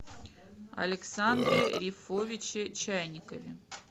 александре рифовиче чайникове